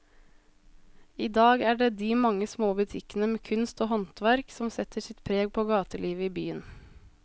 I dag er det de mange små butikkene med kunst og håndverk som setter sitt preg på gatelivet i byen.